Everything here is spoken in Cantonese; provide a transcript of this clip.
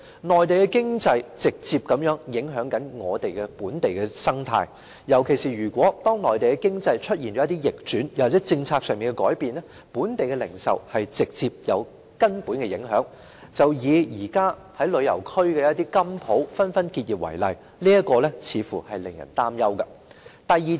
內地經濟直接影響本地生態，尤其是當內地經濟出現逆轉，又或政策上的改變，本地零售業將會直接受到根本的影響，以現時旅遊區的金鋪紛紛結業為例，這情況似乎是令人擔憂的。